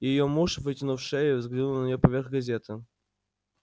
её муж вытянув шею взглянул на неё поверх газеты